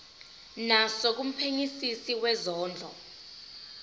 naso kumphenyisisi wezondlo